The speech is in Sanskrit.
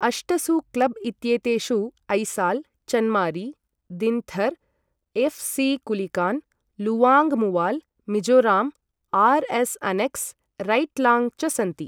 अष्टसु क्लब् इत्येतेषु Aizawl, Chanmari, Dinthar, F C Kulikawn, Luangmual, Mizoram, R S annexe, Reitlang च सन्ति।